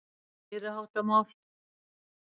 Þetta var meiriháttar mál!